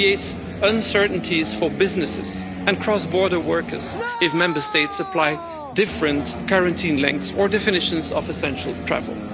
It creates uncertainties for businesses and cross border workers if Member States apply different quarantine lengths or definitions of essential travel.